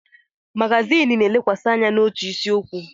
Magazin na-elekwasị anya n'otu isiokwu.